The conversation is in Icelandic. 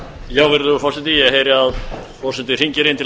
virðulegur forseti ég heyri að forseti hringir inn til